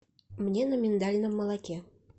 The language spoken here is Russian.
мне на миндальном молоке